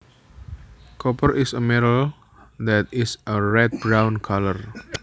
Copper is a metal that is a red brown colour